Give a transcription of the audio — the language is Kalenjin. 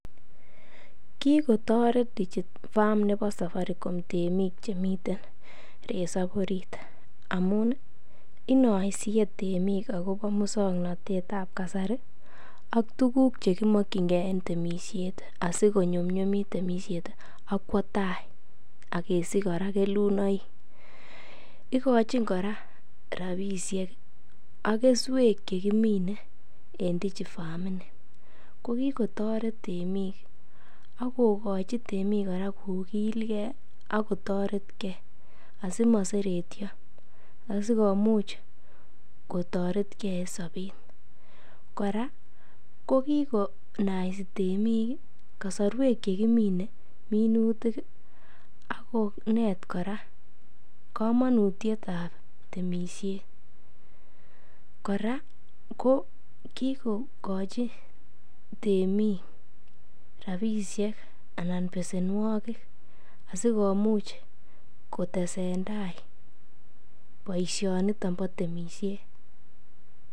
kigotoret DigiFarm nebo saparicom temiik chemi ten resob oriit amuun inoisiye temiik agobo muswoknotet ab kasari , ak tuguk chegimokyingee en temishet asigonyumyumit temisheet ak kwo taai asigesich koraa kelunoik, igochin kora rabishek ak kesweek chegimine en DigiFarm ini, ko kigotoreet temiik agogochi temik koraa kogilgee ak kotoret kee asimoseretyo asigomuch kotoret kee en sobeet, koraa kogigonaisi temiik iih kasorweek chegimine minutik iih ak koneet kora komonutyeet ab temishet, koraa kigogochi temiik rabishek anan besenwogik asigomuuch kotesentai boishoniton bo temishet.